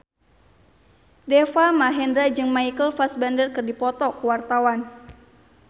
Deva Mahendra jeung Michael Fassbender keur dipoto ku wartawan